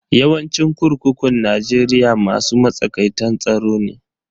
Yawancin kurkukun Najeriya masu matsakaitan tsaro ne.